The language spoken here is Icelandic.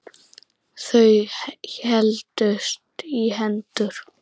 Þau héldust í hendur.